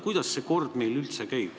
Kuidas see kord meil üldse käib?